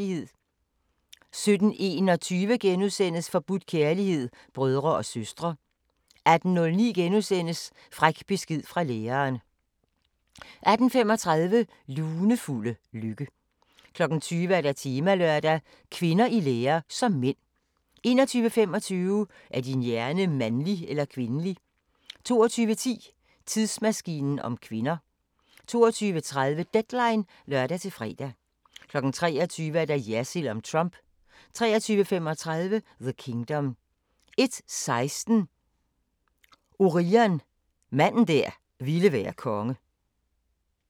17:21: Forbudt kærlighed – brødre og søstre * 18:09: Fræk besked fra læreren * 18:35: Lunefulde lykke 20:00: Temalørdag: Kvinder i lære som mænd 21:25: Er din hjerne mandlig eller kvindelig? 22:10: Tidsmaskinen om kvinder 22:30: Deadline (lør-fre) 23:00: Jersild om Trump 23:35: The Kingdom 01:16: Orion – manden der ville være konge